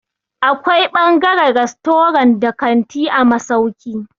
Akwai ɓangaren rastorant da kanti a masauki.